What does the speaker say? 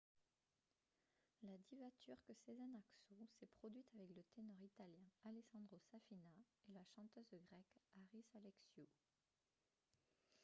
la diva turque sezen aksu s'est produite avec le ténor italien alessandro safina et la chanteuse grecque haris alexiou